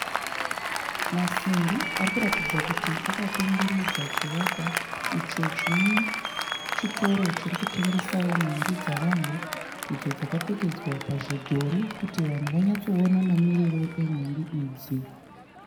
Masimbi ari kuratidza kuti akakomberedza chivakwa icho chine chitoro chiri kutengesawo nhumbi dzavanhu idzo dzakapfekedzwa pazvidhori kuti vanhu vanyatsoona mamiriro enhumbi idzi.